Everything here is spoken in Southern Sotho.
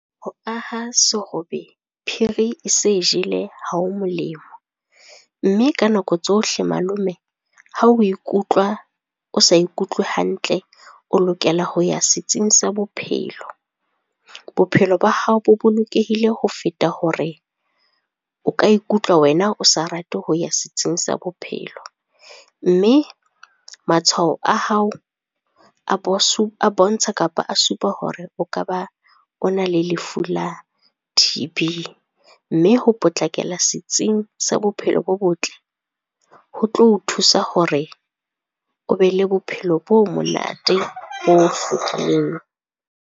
Ho aha serobe phiri e se jele ha ho molemo, mme ka nako tsohle malome ha we ikutlwa, o sa ikutlwe hantle o lokela ho ya setsing sa bophelo. Bophelo ba hao bo bolokehile ho feta hore o ka ikutlwa wena o sa rate ho ya setsing sa bophelo. Mme matshwao a hao a bontsha kapa a supa hore o ka ba o na le lefu la T_B. Mme ho potlakela setsing sa bophelo bo botle, ho tlo o thusa hore o be le bophelo bo monate, bo hlwekileng.